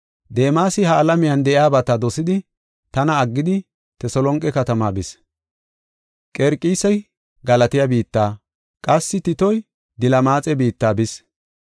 Deemasi ha77i alamiya dosidi, tana aggidi, Teselonqe katamaa bis. Qerqisi Galatiya biitta, qassi Titoy Dilmaxe biitta bis.